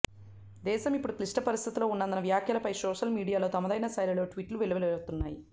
దేశం ఇప్పుడు క్లిష్ట పరిస్థితుల్లో ఉందన్న వ్యాఖ్యలపై సోషల్ మీడియాలో తమదైన శైలిలో ట్వీట్లు వెల్లువెత్తుతున్నాయి